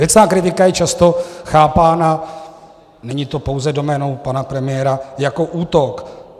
Věcná kritika je často chápána - není to pouze doménou pana premiéra - jako útok.